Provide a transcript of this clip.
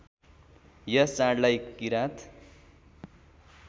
यस चाडलाई किरात